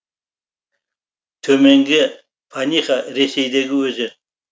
төменгі паниха ресейдегі өзен